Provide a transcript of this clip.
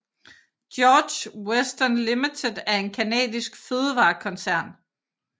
George Weston Limited er en canadisk fødevarekoncern